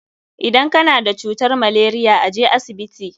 Idan ka na da cutar malaria, a je asibiti.